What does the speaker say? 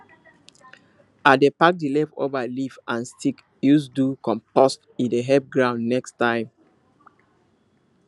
i dey pack the leftover leaf and stick use do compost e dey help ground next time